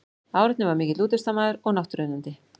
Árni var mikill útivistarmaður og náttúruunnandi.